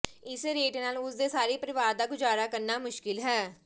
ਇਸ ਰੇਟ ਨਾਲ ਉਸ ਦੇ ਸਾਰੇ ਪਰਿਵਾਰ ਦਾ ਗੁਜ਼ਾਰਾ ਕਰਨਾ ਮੁਸ਼ਕਲ ਹੈ